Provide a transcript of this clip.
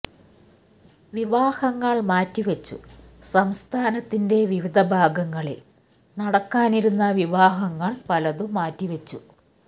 വിവാഹങ്ങള് മാറ്റിവച്ചു സംസ്ഥാനത്തിന്റെ വിവിധ ഭാഗങ്ങളില് നടക്കാനിരുന്ന വിവാഹങ്ങള് പലതും മാറ്റിവച്ചു